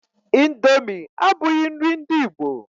Índomi abughi nri ndị ìgbo.